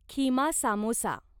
keema samosa